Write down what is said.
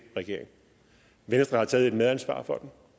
regering venstre har taget et medansvar for